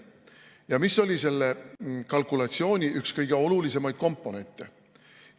Ja mis oli selle kalkulatsiooni üks kõige olulisemaid komponente?